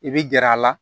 I bi gɛrɛ a la